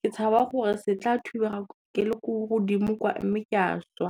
ke tshaba gore se tla thubega ke le ko godimo kwa mme ke a šwa.